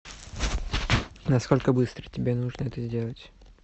насколько быстро тебе нужно это сделать